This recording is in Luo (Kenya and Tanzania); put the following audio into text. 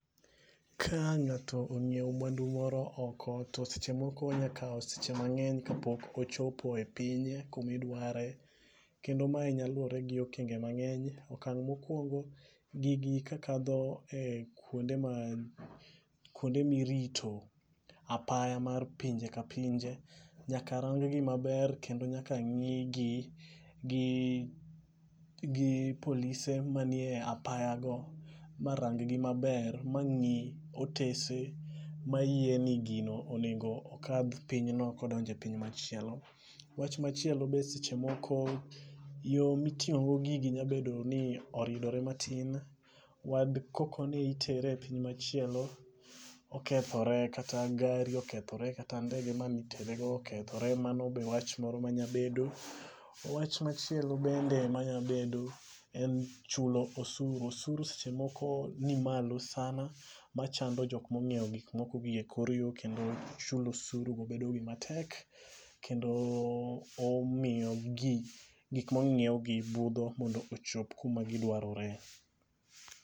Ka ng'ato ong'iewo mwandu moro oko to seche moko onya kawo seche mangeny kapok ochopo e pinye kumi dware, kendo mae nyalo luwre gi okenge mang'eny. Okang 'mokwongo gigi ti kadho kuonde ma kuonde mirito apaya mar pinje ka pinje nyaka rang gi maber kendo nyaka ng'i gi gi polise manie apaya go marang gi maber ma ng'i otese ma yie ni gino onego okadh pinyno kodonje piny machielo. Wach machielo be seche moko yoo miting'o go gigi nya bedo ni oridore matin . Wad koko ne itere e piny machielo okethore kata gari okethore kata ndege manitere go okethore mano be wach moro manya bedo. Wach machielo bende manya bedo en chulo osuru osuru seche moko nimalo sana machando jomo onyiewo gik moko gie kor yo kendo chulo osuru bedo gima tek kendo omiyo jii gik monyiew gi budho mondo ochop kuma gidwarore.